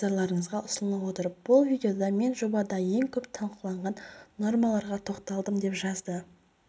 видео назарларыңызға ұсынылып отыр бұл видеода мен жобадағы ең көп талқыланған нормаларға тоқталдым деп жазды